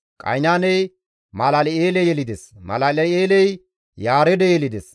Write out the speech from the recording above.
Qaynaaney Malal7eele yelides; Malal7eeley Yaareede yelides.